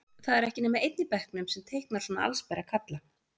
Það er ekki nema einn í bekknum sem teiknar svona allsbera kalla.